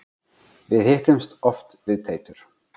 Við hittumst oft við Teitur.